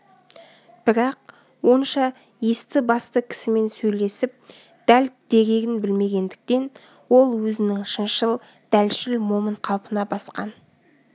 бірақ онша есті-басты кісімен сөйлесіп дәл дерегін білмегендіктен ол өзінің шыншыл дәлшіл момын қалпына басқан